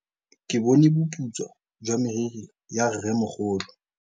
Ke bone boputswa jwa meriri ya rrêmogolo.